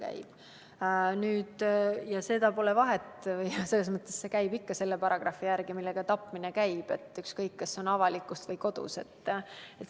Seal pole vahet selles mõttes, et käib ikka selle paragrahvi järgi, mille järgi tapmine käib, ükskõik kas see on toime pandud avalikkuses või kodus.